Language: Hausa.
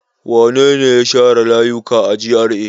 Wane ne ya share layuka a GRA?